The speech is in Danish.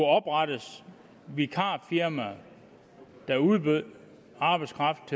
oprettes vikarfirmaer der udbød arbejdskraft